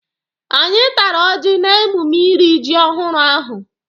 Anyị tara ọjị n'emume iri ji ọhụrụ ahụ